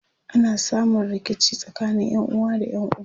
ana samun rikici tsakanin ƴanuwa da ƴan uba